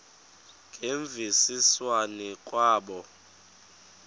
ngemvisiswano r kwabo